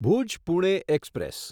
Bhuj Pune express